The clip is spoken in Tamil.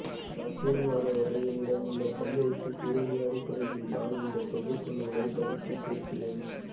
நான் கூடுமானவரை என்னிடம் உள்ள கையெழுத்துப் பிரதிகளின் அடிப்படையில்தான் இந்தத் தொகுப்பு நூலைப் பதிப்பித்திருக்கிறேன்